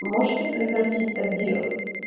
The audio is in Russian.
можете прекратить так делать